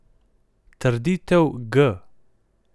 Trditev g.